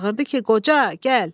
Çağırdı ki, qoca, gəl.